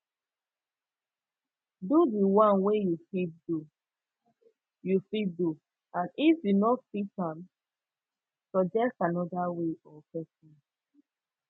do di one wey you fit do you fit do and if you no fit am suggest another way or persin